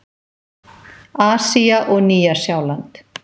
Asía og Nýja-Sjáland